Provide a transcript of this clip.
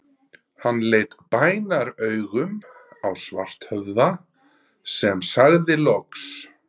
Hann leit bænaraugum á Svarthöfða, sem sagði loks